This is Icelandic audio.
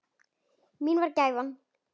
Mín var gæfan.